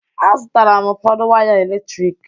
A zụtara m ụfọdụ waya eletrik.